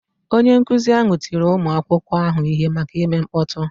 Onye nkụzi ahụ tiri ụmụ akwụkwọ ahụ ihe maka ime mkpọtụ.